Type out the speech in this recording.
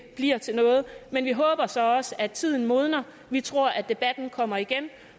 bliver til noget men vi håber så også at tiden modner vi tror at debatten kommer igen